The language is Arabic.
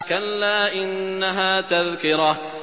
كَلَّا إِنَّهَا تَذْكِرَةٌ